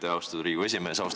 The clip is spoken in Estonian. Aitäh, austatud Riigikogu esimees!